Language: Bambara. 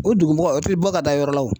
O dugu mɔgɔ o tɛ bɔ ka taa yɔrɔ la o.